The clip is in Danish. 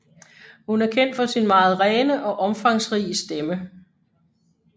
Hun er kendt for sin meget rene og omfangsrige stemme